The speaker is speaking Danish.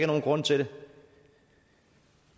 nogen grund til det